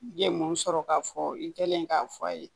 I ye mun sɔrɔ k'a fɔ i kɛlen k'a fɔ a ye